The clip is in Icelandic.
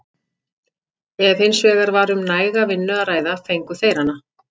Ef hins vegar var um næga vinnu að ræða fengu þeir hana.